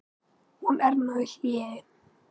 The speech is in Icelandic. Hún er nú í hléi.